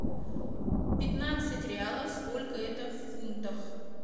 пятнадцать реалов сколько это в фунтах